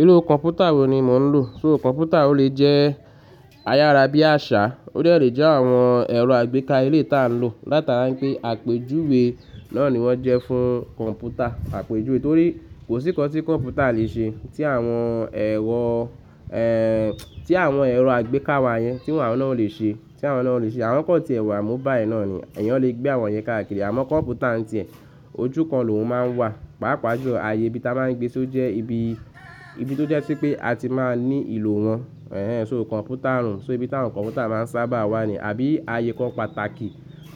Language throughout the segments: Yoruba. Irú kọ̀mpútà wo ni mò ń lò? So kọ̀mpútà ó lè jẹ́ ayárá bí àṣá, ó de lè jẹ́ àwọn ẹ̀rọ àgbéká eleyi tá ń lò. Látara pé àpejuwe náà ni wọ́n jẹ́ fún kọ̀mpútà, àpejuwe torí kò sí kan tí kọ̀mpútà le ṣe tí àwọn ẹ̀wọ̀, tí àwọn ẹ̀rọ àgbéká wa yẹn tí wọn náà ò le ṣe, tí àwọn náà ò le ṣe. Àwọn kan ti ẹ̀ wà mobile náà ni èèyàn lè gbé àwọn yẹn káàkiri. Àmọ́ kọ̀mpútà ń ti ẹ̀ ojú kan lóhùn máa ń wà. Páápàá jọ ààyè bí ta máa ń gbé só jẹ́ ibi, ibi tó jẹ́ pé a ti máa ń ní ìlò wọn. So kọ̀mpútà room, so ibi táwọn kọ̀mpútà máa ń sábà wà ni àbí ààyè kan pàtàkì,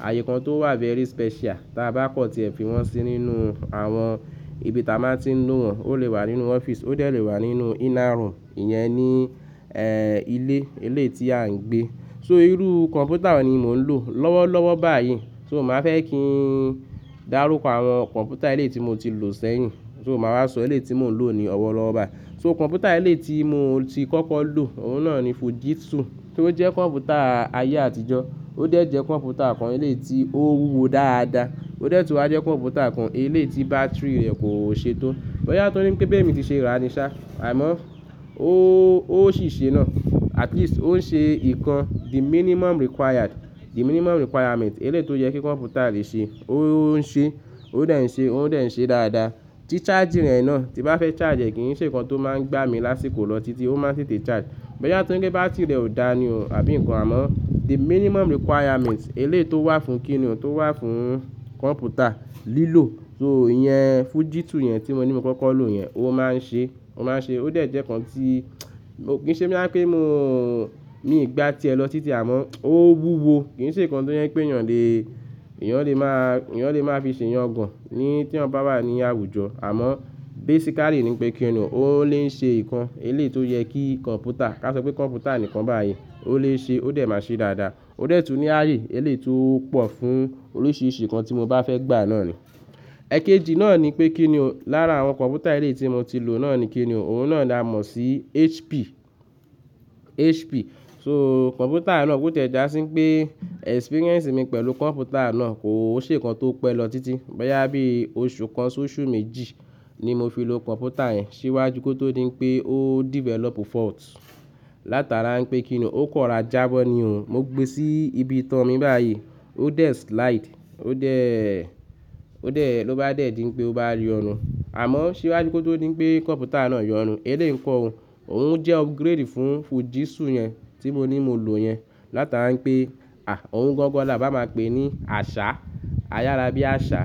ààyè kan tó wà very special tí a bá kọ̀ ti ẹ̀ fi wọ́n sí nínú àwọn ibi táa máa ń ti ń lo wọn. Ó lè wà nínú ọ́fíìsì, ó lè lè wà nínú iná rùn, ìyẹn ni ilé, eleyi tí à ń gbé. So irú kọ̀mpútà wo ni mò ń lò? Lọ́wọ́lọ́wọ́ báyìí, so màá fẹ́ kí n dàrúkọ àwọn kọ̀mpútà eléyi tí mo ti lò sẹ́yìn, so màá wá sọ eléyi tí mò ń lò ni ọ̀wọ̀ lọ́wọ́ ọba. So kọ̀mpútà eléyi tí mo ti kọ́kọ́ lò, òun náà ni Fujitsu tí ó jẹ́ kọ̀mpútà ayé àtijọ́. Ó dẹ̀ jẹ́ kọ̀mpútà kan eleyi tí ó wúwo dáadáa. Ó dẹ̀ tu á jẹ́ kọ̀mpútà kan ilé tí bátìrì rẹ̀ kò ṣe tó. BỌ̀yá tóri ní pé bemi ti ṣe ra ni ṣá, àmọ́ ó, ó sì ṣe náà. At least ó ń ṣe ìkan the minimum required, the minimum requirement eléyi tó yẹ kí kọ̀mpútà lè ṣe, ó ń ṣe, ó dẹ̀ ń ṣe, ó dẹ̀ ń ṣe dáadáa. Tí charger rẹ̀ náà tí bá fẹ́ charge rẹ̀ kíyi ń ṣe nǹkan tó máa ń gbá mi lásìkò lọ títí ó máa ń tètè charge. BỌ̀yá tó nrí pé bátìrì rẹ̀ ò dáa ni o, àbí nǹkan àmọ́ the minimum requirement ilé tó wà fún kí ni o, tó wà fún kọ̀mpútà lílò. So ìyẹn Fujitsu yẹn tí mo ní mo kọ́kọ́ lò yẹn, ó máa ń ṣe, ó máa ń ṣe. Ó dẹ̀ jẹ́ nǹkan tí kò ṣe mí bá pé mò ń ní ìgbà ti ẹ lọ títí àmọ́ ó wúwo. Kì í ṣe nǹkan tó yẹ pé èèyàn lè, èèyàn lè máa, èèyàn lè máa fi ṣe ìyàngàn ní tí eyan bá wà ní àwùjọ. Àmọ́ basically ni pé kí ni o, ó lè ń ṣe nǹkan elé tó yẹ kí kọ̀mpútà, ká sọ pé kọ̀mpútà nìkan báyìí ó lè ṣe ó dẹ̀ máa ṣe dáadáa. Ó dẹ̀ tun ní ayé eléyi tó pọ̀ fún oríṣiríṣi nǹkan tí mo bá fẹ́ gbà náà ni. Ẹ̀kéjì náà ni pé kí ni o, lára àwọn kọ̀mpútà ilé tí mo ti lò náà ni kí ni o, òun náà la mọ̀ sí HP, HP. So kọ̀mpútà náà kò tẹ̀ já sí pé experience mi pẹ̀lú kọ̀mpútà náà kò ṣe nǹkan tó pẹ́ lọ títí. Ọ̀yá bí oṣù kan sóṣù méjì ni mo fi lo kọ̀mpútà yẹn síwájú kí ó tó dín pé ó develop fault. Látara pé kí ni o, ó kọ̀ra jábọ̀ ni o. Mo gbé sí ibi ìtàn mi báyìí, ó dé slide, ó dè, ó dè ló bá dẹ̀ dín pé ó bá yọ̀nun. Àmọ́ ṣíwájú kí ó tó dín pé kọ̀mpútà náà yọ̀rùn. Elé ńkọ́ o, òun jẹ́ upgrade fún Fujitsu yẹn tí mo ní mo lò yẹn. Látara pé a òun gangan la bá máa pè ní àṣá, ayárá bí àṣá.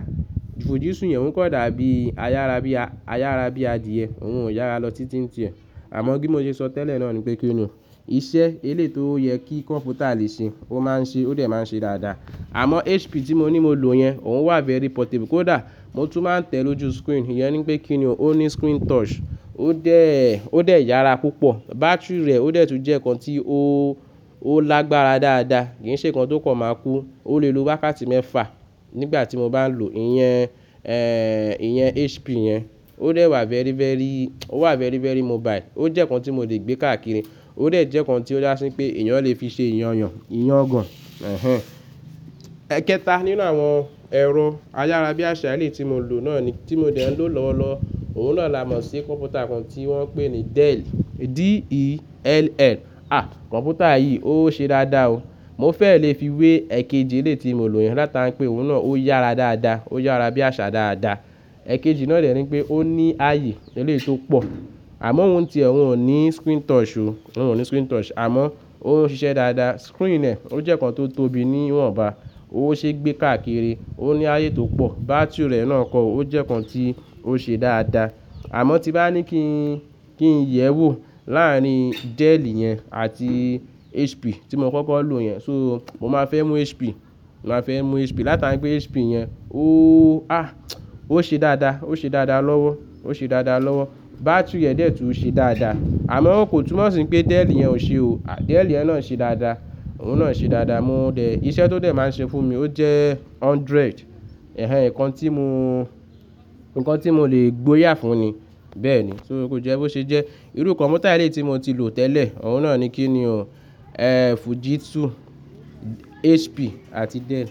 Fujitsu yẹn òun kọ̀ dàbí ayárá bí a, ayárá bí adìẹ. Òun ò yára lọ títí ń ti ẹ. Àmọ́ bi mo yé sọ tẹ́lẹ̀ náà ni pé kí ni o, iṣẹ́ elé tó yẹ kí kọ̀mpútà lè ṣe, ó máa ń ṣe ó dẹ̀ máa ń ṣe dáadáa. Àmọ́ HP tí mo ní mo lò yẹn, òun wà very portable. Kò dà, mo tún máa ń tẹ̀ lójú screen, ìyẹn ni pé kí ni o, ó ní screen touch. Ó dẹ̀, ó dẹ̀ yára púpọ̀. Bátìrì rẹ̀ ó dẹ̀ tun jẹ́ nǹkan tí ó, ó lágbára dáadáa. Kì í ṣe nǹkan tó kàn máa kú. Ó lè lo wákàtí mẹ́fà nígbà tí mo bá ń lò ìyẹn, ìyẹn HP yẹn. Ó dẹ̀ wà very, very, ó wà very, very mobile. Ó jẹ́ nǹkan tí mo lè gbé káàkiri, ó dẹ̀ jẹ́ nǹkan tí ó dá sí pé èèyàn lè fi ṣe ìyànyàn, ìyàngàn. Ẹ̀hẹ́n. Ẹ̀kẹta nínú àwọn ẹ̀rọ ayárá bí àṣá elé tí mo lò náà ni, tí mo dẹ̀ ń lò lọ́wọ́lọ́wọ́ òun náà la mọ̀ sí kọ̀mpútà kan tí wọ́n ń pè ní Dell, D-E-L-L. A! Kọ̀mpútà yìí ó ṣe dáadáa o. Mo fẹ́ lè fi wé ẹ̀kẹjì ilé tí mo lò yẹn látara pé òun náà ó yára dáadáa, ó yára bí àṣá dáadáa. Ẹ̀kẹjì náà dẹ̀ ni pé ó ní ayé eléyi tó pọ̀. Àmọ́ òun ti ẹ, òun ò ní screen touch o, òun ò ní screen touch. Àmọ́ ó ń ṣiṣẹ́ dáadáa. Screen rẹ̀ ó jẹ́ nǹkan tó tóbi níwọ̀nba. Ó ṣe gbé káàkiri, ó ní ayé tó pọ̀. Bátìrì rẹ̀ náà kọ, ó jẹ́ nǹkan tí ó ṣe dáadáa. Àmọ́ tí bá ní kí n, kí n yẹ̀ ẹ́ wò láàárín Dell yẹn àti HP tí mo kọ́kọ́ lò yẹn, so mo máa fẹ́ mú HP, màá fẹ́ mú HP. Látara pé HP yẹn ó a ó ṣe dáadáa, ó ṣe dáadáa lọ́wọ́, ó ṣe dáadáa lọ́wọ́. Bátìrì rẹ̀ dẹ̀ tun ṣe dáadáa. Àmọ́ kò túnmọ̀ sí pé Dell yẹn ò ṣe o. Dell yẹn náà ń ṣe dáadáa, òun náà ń ṣe dáadáa. Mo dẹ̀ iṣẹ́ tó dẹ̀ máa ń ṣe fún mi ó jẹ́ hundred. Ẹ̀hẹn nǹkan tí mo, nǹkan tí mo lè gboyà fún ni. Bẹ́ẹ̀ ni, so kó jẹ́ bó ṣe jẹ́. Irú kọ̀mpútà eleyi tí mo ti lò tẹ́lẹ̀ òun náà ni kí ni o, Fujitsu, HP àti Dell.